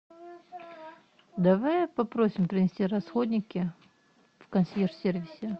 давай попросим принести расходники в консьерж сервисе